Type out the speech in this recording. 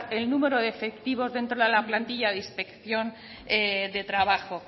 el número de efectivos dentro de la plantilla de inspección de trabajo